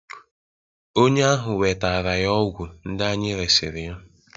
onye ahụ wetara ya ọgwụ ndị anyị resịrị ya